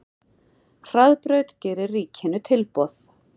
Hraðbraut gerir ríkinu tilboð